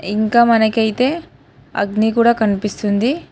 ఇంకా మనకైతే అగ్ని కూడా కనిపిస్తుంది.